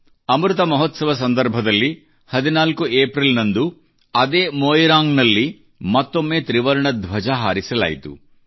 ಅಮೃತ ಮಹೋತ್ಸವ ಸಂದರ್ಭದಲ್ಲಿ 14 ಏಪ್ರಿಲ್ ಗೆ ಅದೇ ಮೊಯಿರಾಂಗ್ ನಲ್ಲಿ ಮತ್ತೊಮ್ಮೆ ತ್ರಿವರ್ಣ ಧ್ವಜ ಹಾರಿಸಲಾಯಿತು